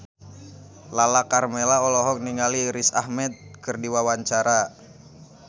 Lala Karmela olohok ningali Riz Ahmed keur diwawancara